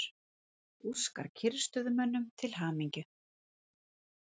Óskar kyrrstöðumönnum til hamingju